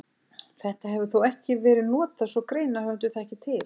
Þetta hefur þó ekki verið notað svo greinarhöfundur þekki til.